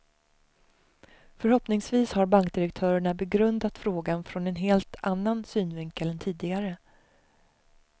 Förhoppningsvis har bankdirektörerna begrundat frågan från en helt annnan synvinkel än tidigare.